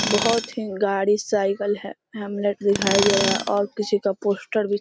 बहोत ही गाड़ी साइकिल है हेमलेट दिखाई दे रहा है और किसी का पोस्टर भी--